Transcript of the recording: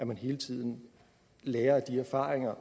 man hele tiden lærer af de erfaringer